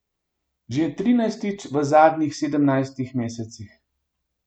Že trinajstič v zadnjih sedemnajstih mesecih.